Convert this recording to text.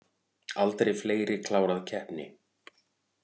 Aldrei fleiri klárað keppni